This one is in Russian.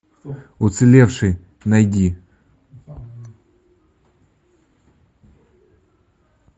уцелевший найди